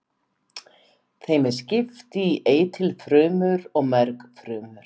Þeim er skipt í eitilfrumur og mergfrumur.